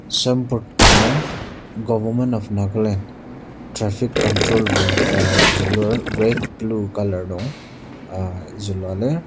Signboard ka nung government of nagaland traffic control room ta zülur red blue colour nung ah zülua lir.